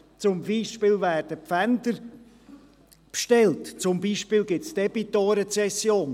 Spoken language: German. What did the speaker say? Es werden zum Beispiel Pfänder bestellt, und zum Beispiel gibt es die Debitorenzession.